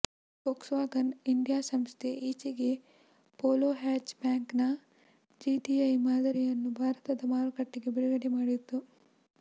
Volkswagen India ಸಂಸ್ಥೆ ಈಚೆಗೆ Polo ಹ್ಯಾಚ್ ಬ್ಯಾಕ್ನ ಜಿಟಿಐ ಮಾದರಿಯನ್ನು ಭಾರತದ ಮಾರುಕಟ್ಟೆಗೆ ಬಿಡುಗಡೆ ಮಾಡಿತ್ತು